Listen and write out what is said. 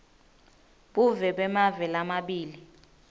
buve bemave lamabili